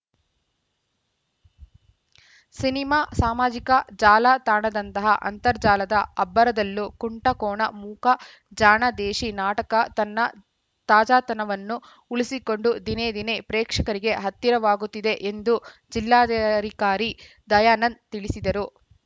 cinema ಸಾಮಾಜಿಕ ಜಾಲ ತಾಣದಂತಹ ಅಂತರ್ಜಾಲದ ಅಬ್ಬರದಲ್ಲೂ ಕುಂಟ ಕೋಣ ಮೂಕ ಜಾಣ ದೇಶೀ ನಾಟಕ ತನ್ನ ತಾಜಾತನವನ್ನು ಉಳಿಸಿಕೊಂಡು ದಿನೇ ದಿನೇ ಪ್ರೇಕ್ಷಕರಿಗೆ ಹತ್ತಿರವಾಗುತ್ತಿದೆ ಎಂದು ಜಿಲ್ಲಾಧಿಕಾರಿ ದಯಾನಂದ್‌ ತಿಳಿಸಿದರು